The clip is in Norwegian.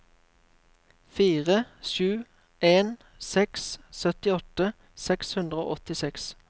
fire sju en seks syttiåtte seks hundre og åttiseks